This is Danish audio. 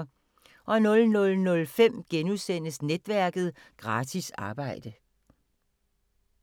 00:05: Netværket: Gratis arbejde *